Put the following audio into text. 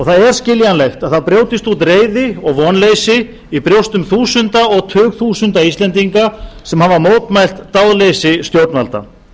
það er skiljanlegt að það brjótist út reiði og vonleysi í brjóstum þúsunda og tugþúsunda íslendinga sem hafa mótmælt dáðleysi stjórnvalda